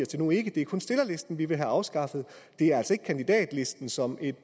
det nu ikke det er kun stillerlisten vi vil have afskaffet det er altså ikke kandidatlisten som et